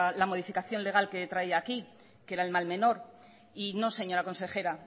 la modificación legal que traía aquí que era el mal menor y no señora consejera